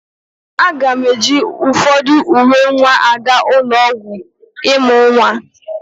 Aga m eji ụfọdụ uwe nwa aga ụlọ ọgwụ ịmụ nwa.